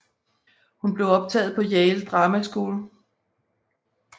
Hun blev optaget på Yale Drama School